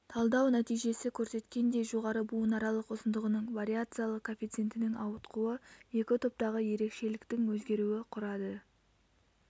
талдау нәтижесі көрсеткендей жоғары буынаралық ұзындығының вариациялық коэффициентінің ауытқуы екі топтағы ерекшеліктің өзгеруі құрады